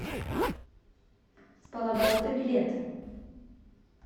с полоборота билет